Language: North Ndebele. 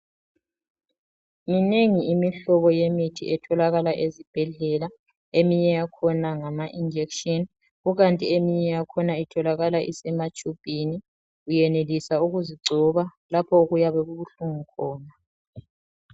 Iminengi imihlobo yemithi etholakala ezibhedlela eminye yakhona ngamainjection kukanti eminye yakhona utholakala isematshubhini uyenelisa ukuzigcoba lapho okuyabe kubuhlungu khona.